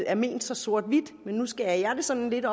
er ment så sort hvidt men nu skærer jeg det sådan lidt